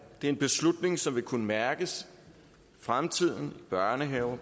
det er en beslutning som vil kunne mærkes i fremtiden i børnehaver